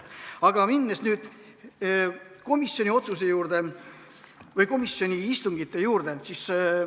Aga lähen nüüd komisjoni otsuse ja komisjoni istungite juurde.